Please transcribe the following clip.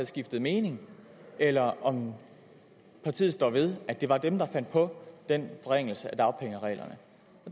skiftet mening eller om partiet står ved at det var dem der fandt på den forringelse af dagpengereglerne